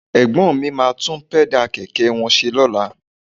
Ẹ̀gbọ́n mi máa tún Pẹ́dà kẹ̀kẹ́ wọn ṣe lọ́la